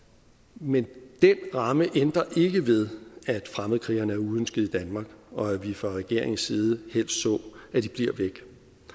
men den ramme ændrer ikke ved at fremmedkrigerne er uønskede i danmark og at vi fra regeringens side helst så at de bliver væk